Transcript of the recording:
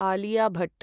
Alia Bhat